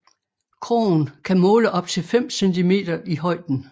Krogen kan måle op til 5 centimeter i højden